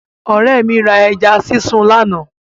Ọ̀rẹ́ mi ra ẹja sísun lánàá.